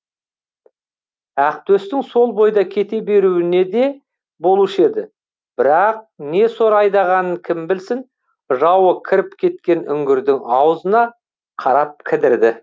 ақтөстің сол бойда кете беруіне де болушы еді бірақ не сор айдағанын кім білсін жауы кіріп кеткен үңгірдің аузына қарап кідірді